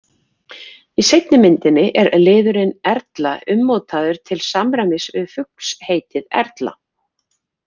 Í seinni myndinni er liðurinn-erla ummótaður til samræmis við fuglsheitið erla.